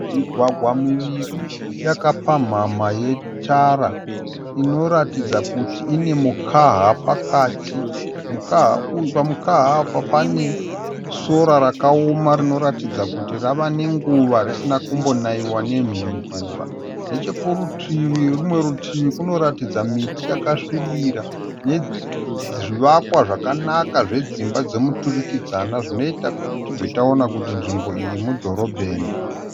Mugwagwa miviri yakapamhama yetara. Inoratidza kuti ine mukaha pakati. Pamukaha apa pane sora rakaoma rinoratidza rava nenguva risina kumbonaiwa nemvura. Nechekunerimwe rutivi kunotaridza miti yakasvibira nezvivakwa zvakanaka zvedzimba dzemiturikidzanwa zvinoita kuti tibve taona kuti nzvimbo iyi mudhorobheni.